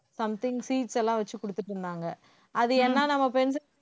something seeds எல்லாம் வச்சு கொடுத்திட்டு இருந்தாங்க அது ஏன்னா நம்ம pencil